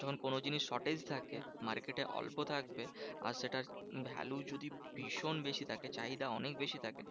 যখন কোনো জিনিস shortage থাকে market এ, অল্প থাকবে আর সেটার value যদি ভীষণ বেশি থাকে চাহিদা অনেক বেশি থাকে,